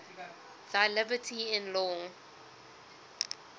thy liberty in law